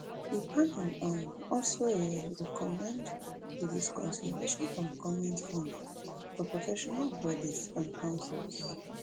di panel um also um recommend di discontinuation of goment funding for professional bodies and councils